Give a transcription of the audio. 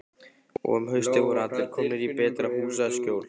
Og um haustið voru allir komnir í betra húsaskjól.